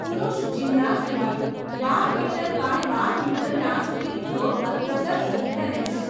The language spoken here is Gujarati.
પુરુષ જિમ્નાસ્ટ પણ બાર મીટર બાય બાર મીટરના સ્પ્રિંગ ફ્લોર પર પ્રદર્શન કરે છે.